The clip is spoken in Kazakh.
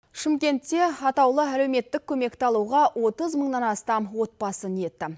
шымкентте атаулы әлеуметтік көмекті алуға отыз мыңнан астам отбасы ниетті